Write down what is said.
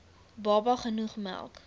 baba genoeg melk